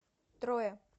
троя